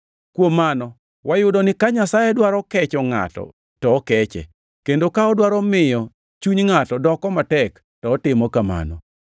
Kuom mano, wayudo ni ka Nyasaye dwaro kecho ngʼato to okeche, kendo ka odwaro miyo chuny ngʼato doko matek to otimo kamano.